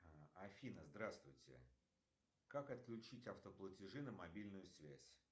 афина здравствуйте как отключить автоплатежи на мобильную связь